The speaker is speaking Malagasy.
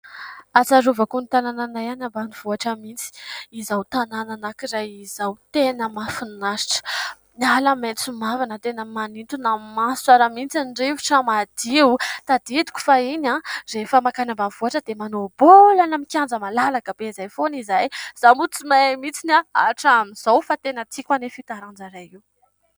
Ahatsiarovako ny tanànanay any ambanivohitra mihitsy izao tanàna anankiray izao ; tena mahafinaritra ; ny ala maitso mavana tena manintona ny maso tsara mihitsy, ny rivotra madio. Tadidiko fahiny rehefa makany ambanivohitra dia manao baolina any amin'ny kianja malalaka be izay foana izahay ; izaho moa tsy mahay mihitsy hatramin'izao fa tena tiako anefa io taranja iray io.